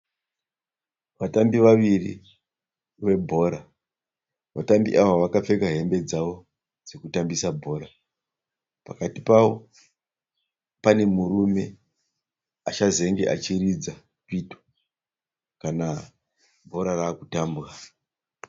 Vatambi vaviri, vebhora. Vatambi ava vakapfeka hembe dzavo dzekutambisa bhora. Pakati pavo pane murume achazenge achiridza pito kana bhora rava kutambwa